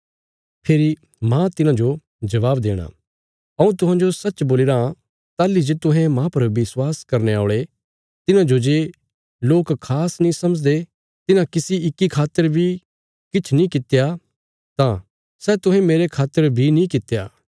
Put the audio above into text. फेरी मांह तिन्हांजो जबाब देणा हऊँ तुहांजो सच्च बोलीराँ ताहली जे तुहें मांह पर विश्वास करने औल़े तिन्हांजो जे लोक खास नीं समझदे तिन्हां किसी इक्की खातर बी किछ नीं कित्या तां सै तुहें मेरे खातर बी नीं कित्या